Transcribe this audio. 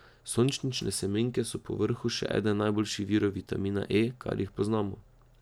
Sončnične semenke so povrhu še eden najboljših virov vitamina E, kar jih poznamo.